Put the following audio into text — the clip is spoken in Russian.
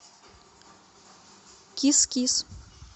кис кис